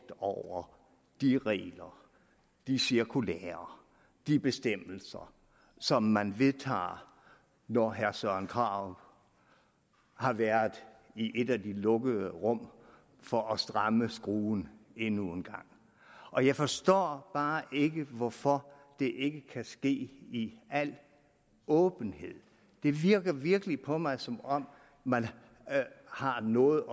over de regler de cirkulærer de bestemmelser som man vedtager når herre søren krarup har været i et af de lukkede rum for at stramme skruen endnu en gang og jeg forstår bare ikke hvorfor det ikke kan ske i al åbenhed det virker virkelig på mig som om man har noget